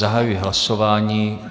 Zahajuji hlasování.